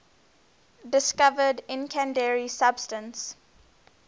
discovered incendiary substance